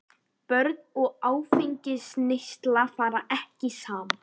Börn og áfengisneysla fara ekki saman.